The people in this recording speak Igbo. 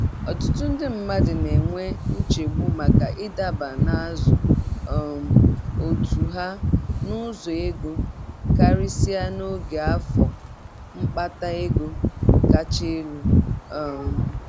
Ọtụtụ ndị mmadụ na-enwe nchegbu maka ịdaba n'azụ um otu ha n'ụzọ ego, karịsịa n'oge afọ mkpata ego kacha elu. um